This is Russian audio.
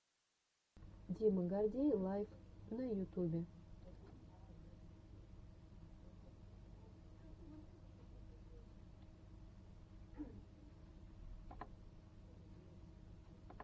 дима гордей лайв на ютубе